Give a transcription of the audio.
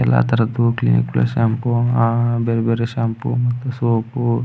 ಎಲ್ಲ ತರದು Clinic Plus shampoo ಅಹ್ ಅಹ್ ಬೇರೆ ಬೇರೆ ಶಾಂಪೂ ಮತ್ ಸೋಪು .